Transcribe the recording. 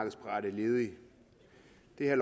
det herre